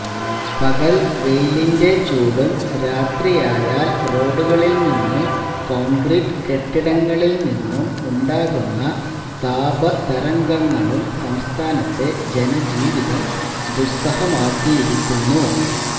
പകല് വെയിലിന്റെ ചൂടും രാത്രിയായാല് റോഡുകളില് നിന്നും കോണ്ക്രീറ്റ് കെട്ടിടങ്ങളില് നിന്നും ഉണ്ടാകുന്ന താപതരംഗങ്ങളും സംസ്ഥാനത്തെ ജനജീവിതം ദുസ്സഹമാക്കിയിരിക്കുന്നു